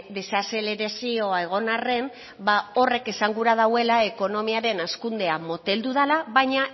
desazelerazioa egon arren ba horrek esan nahi duela ekonomiaren hazkundea moteldu dela baina